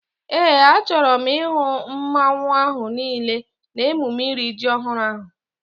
Éè, a chọrọ m ihu mmanwu ahu niile n'emume iri ji ọhụrụ ahu